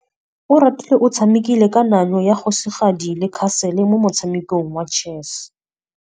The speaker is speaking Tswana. Oratile o tshamekile kananyô ya kgosigadi le khasêlê mo motshamekong wa chess.